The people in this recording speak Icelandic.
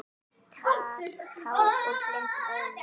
Tár úr blindum augum renna.